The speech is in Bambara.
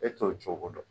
E t'o cogo dɔn